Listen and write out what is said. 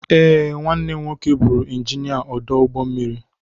Ee, nwanne m nwoke bụụrụ injinia ọdụ ụgbọ mmiri.